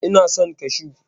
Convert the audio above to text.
E, ina son kashu.